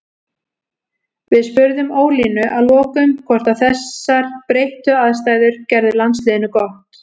Við spurðum Ólínu að lokum hvort að þessar breyttu aðstæður gerðu landsliðinu gott.